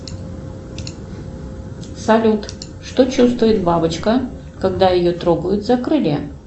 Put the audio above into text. салют что чувствует бабочка когда ее трогают за крылья